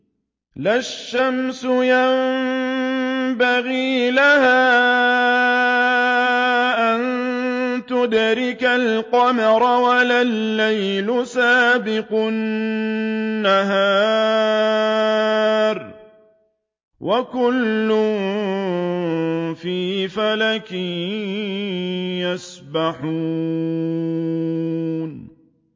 لَا الشَّمْسُ يَنبَغِي لَهَا أَن تُدْرِكَ الْقَمَرَ وَلَا اللَّيْلُ سَابِقُ النَّهَارِ ۚ وَكُلٌّ فِي فَلَكٍ يَسْبَحُونَ